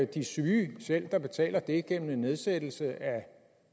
de syge selv der betaler det gennem en nedsættelse af